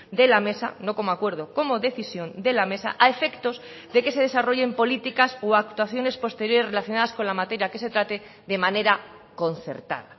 de la mesa no como acuerdo como decisión de la mesa a efectos de que se desarrollen políticas o actuaciones posteriores relacionadas con la materia que se trate de manera a concertar